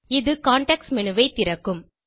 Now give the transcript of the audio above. இது context menu ஐ திறக்கும்